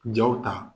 Jaw ta